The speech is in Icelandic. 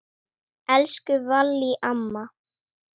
Elsku Vallý amma.